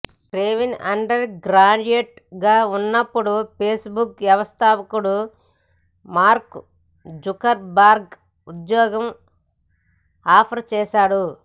Kevin undergraduate గా ఉన్నప్పుడు Facebook వ్యవస్థాపకుడు మార్క్ జుకర్ బర్గ్ ఉద్యోగం ఆఫర్ చేశాడు